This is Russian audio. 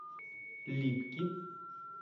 липки